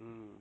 ஹம்